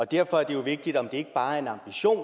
derfor er det jo vigtigt om det ikke bare er en ambition